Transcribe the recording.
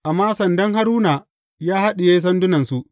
Amma sandan Haruna ya haɗiye sandunansu.